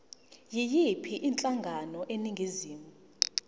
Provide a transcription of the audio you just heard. yiyiphi inhlangano eningizimu